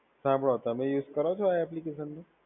હા પણ તમે યુઝ કરો છો આ એપ્લિકેશનને?